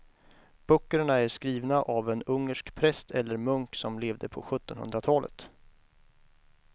Böckerna är skrivna av en ungersk präst eller munk som levde på sjuttonhundratalet.